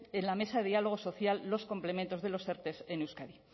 en la mesa de diálogo social los complementos de los erte en euskadi